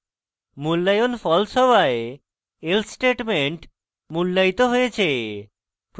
মূল্যায়ন false হওয়ায় else statement মূল্যায়িত হয়েছে